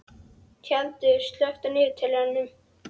Tjaldur, slökktu á niðurteljaranum.